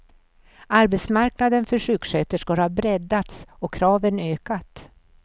Arbetsmarknaden för sjuksköterskor har breddats och kraven ökat.